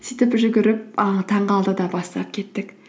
сөйтіп жүгіріп ы таңғы алтыда бастап кеттік